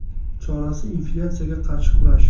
Chorasi inflyatsiyaga qarshi kurash.